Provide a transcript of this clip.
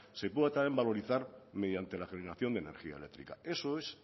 se pueda también valorizar mediante la generación de energía eléctrica eso es